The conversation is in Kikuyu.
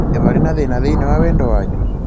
Nĩ varĩ na thĩna thĩinĩ wa wendo wanyu?